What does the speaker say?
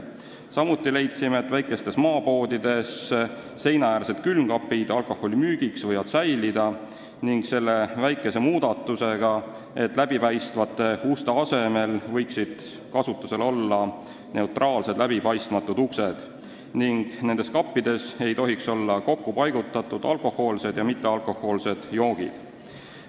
Samuti leidsime, et väikestes maapoodides võivad seinaäärsed külmkapid alkoholi jaoks alles jääda, selle väikese muudatusega, et läbipaistvate uste asemel võiksid kasutusel olla neutraalsed läbipaistmatud uksed ning nendes kappides ei tohiks olla alkohoolsed ja mittealkohoolsed joogid koos.